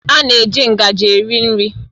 A na-eji ngaji eri nri